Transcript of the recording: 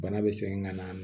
Bana bɛ sɛgɛn ŋa n'a n